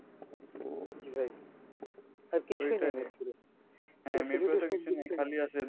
জি ভাই